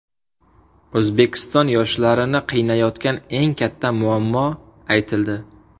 O‘zbekiston yoshlarini qiynayotgan eng katta muammo aytildi.